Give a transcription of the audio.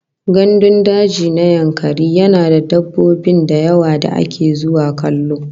Gandun daji na Yankari yana da dabbobin dawa da ake zuwa kallo